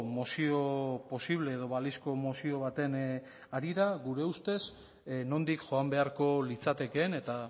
mozio posible edo balizko mozio baten harira gure ustez nondik joan beharko litzatekeen eta